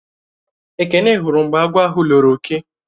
Ekene hụrụ mgbe agwọ̀ ahụ lọrò ọke